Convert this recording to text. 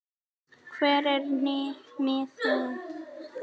hvar eru miðin?